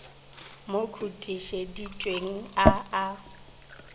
mo khutišeditšeng a a a